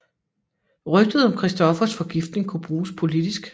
Rygtet om Christoffers forgiftning kunne bruges politisk